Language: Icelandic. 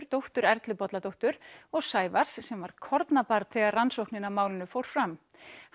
dóttur Erlu Bolladóttur og Sævars sem var kornabarn þegar rannsóknin á málinu fór fram